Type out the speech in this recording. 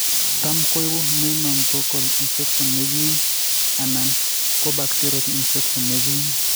Tam koibu meningococcal infection negim anan ko bacterial infection negim